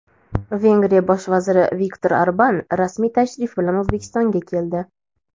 Vengriya Bosh vaziri Viktor Orban rasmiy tashrif bilan O‘zbekistonga keldi.